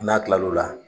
N'a kilal'o la